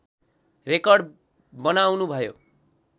record बनाउनु भयो